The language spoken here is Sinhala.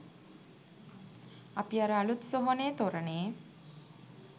අපි අර අලුත් සොහොනේ තොරණේ